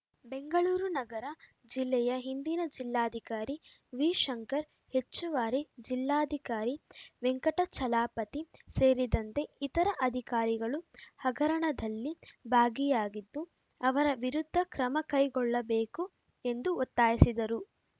ಬೆಂಗಳೂರು ನಗರ ಜಿಲ್ಲೆಯ ಹಿಂದಿನ ಜಿಲ್ಲಾಧಿಕಾರಿ ವಿಶಂಕರ್‌ ಹೆಚ್ಚುವಾರಿ ಜಿಲ್ಲಾಧಿಕಾರಿ ವೆಂಕಟಾಚಲಾಪತಿ ಸೇರಿದಂತೆ ಇತರ ಅಧಿಕಾರಿಗಳು ಹಗರಣದಲ್ಲಿ ಭಾಗಿಯಾಗಿದ್ದು ಅವರ ವಿರುದ್ಧ ಕ್ರಮ ಕೈಗೊಳ್ಳಬೇಕು ಎಂದು ಒತ್ತಾಯಿಸಿದರು